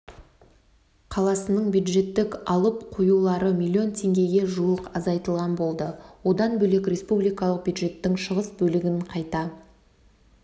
қаласының бюджеттік алып-қоюлары миллион теңгеге жуық азайтылатын болды одан бөлек республикалық бюджеттің шығыс бөлігін қайта